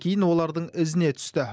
кейін олардың ізіне түсті